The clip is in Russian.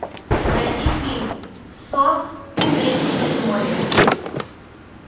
найди фильм сос женщины в море